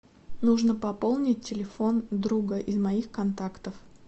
нужно пополнить телефон друга из моих контактов